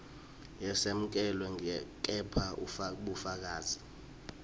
yesekelwe kepha bufakazi